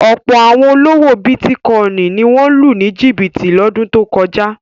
Ọ̀pọ̀ àwọn olówò bítíkọ́ìn ni wọ́n lù ní jìbìtì lọ́dún tó kọjá.